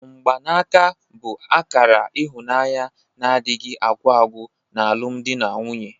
Mgbanaka bụ akara ịhụnanya na-adịghị agwụ agwụ n'alụmdi na nwunye.